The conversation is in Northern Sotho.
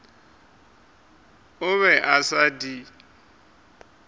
o be a sa di